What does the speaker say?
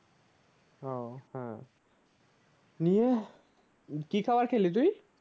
উম নীর কি খাবার খেলি তুই?